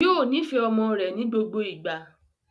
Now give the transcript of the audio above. Yóò nifẹ ọmọ rẹ̀ ní gbogbo ìgbà